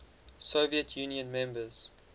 soviet union members